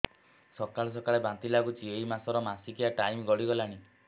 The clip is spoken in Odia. ସକାଳେ ସକାଳେ ବାନ୍ତି ଲାଗୁଚି ଏଇ ମାସ ର ମାସିକିଆ ଟାଇମ ଗଡ଼ି ଗଲାଣି